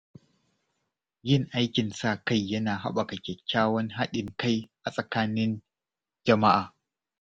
Yin aikin sa-kai yana haɓaka kyakkyawan haɗin kai a tsakanin jama’a.